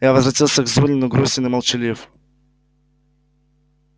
я возвратился к зурину грустен и молчалив